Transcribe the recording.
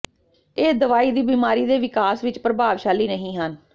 ਇਹ ਦਵਾਈ ਦੀ ਬਿਮਾਰੀ ਦੇ ਵਿਕਾਸ ਵਿੱਚ ਪ੍ਰਭਾਵਸ਼ਾਲੀ ਨਹੀ ਹਨ